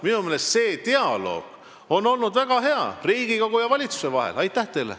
Minu meelest on see dialoog Riigikogu ja valitsuse vahel olnud väga hea.